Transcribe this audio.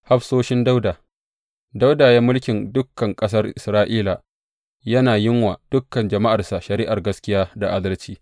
Hafsoshin Dawuda Dawuda ya yi mulkin dukan ƙasar Isra’ila, yana yin wa dukan jama’arsa shari’ar gaskiya da adalci.